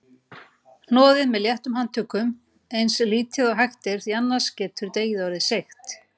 Hnoðið með léttum handtökum eins lítið og hægt er því annars getur deigið orðið seigt.